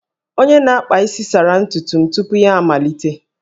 Onye na-akpa isi sara ntutu m tupu ya amalite